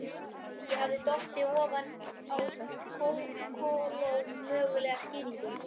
Ég hafði dottið ofan á kolómögulega skýringu.